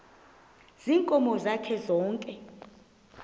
ziinkomo zakhe zonke